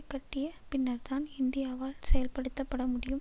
கட்டிய பின்னர்தான் இந்தியாவால் செயல்படுத்தப்பட முடியும்